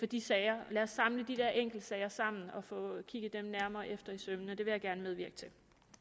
de sager lad os samle de der enkeltsager sammen og få kigget dem nærmere efter i sømmene det vil jeg gerne medvirke til